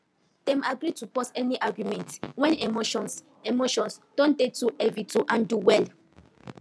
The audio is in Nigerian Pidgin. dem agree to pause any argument when emotions emotions don dey too heavy to handle well